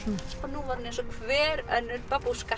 nú var hann eins og hver önnur babúska